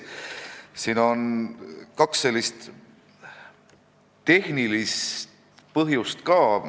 Siin on ka kaks tehnilist põhjust.